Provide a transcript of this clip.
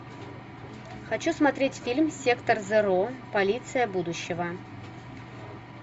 хочу смотреть фильм сектор зеро полиция будущего